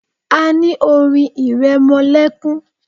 A ní orin ìrẹmọlẹ́kún.